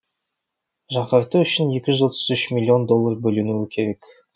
жаңғырту үшін екі жүз отыз үш миллион доллар бөлінуі керек